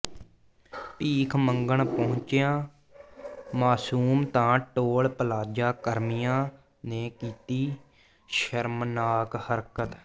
ਭੀਖ ਮੰਗਣ ਪਹੁੰਚਿਆਂ ਮਾਸੂਮ ਤਾਂ ਟੋਲ ਪਲਾਜ਼ਾ ਕਰਮੀਆਂ ਨੇ ਕੀਤੀ ਸ਼ਰਮਨਾਕ ਹਰਕਤ